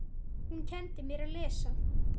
Hún kenndi mér að lesa.